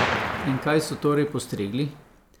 In kaj so torej postregli?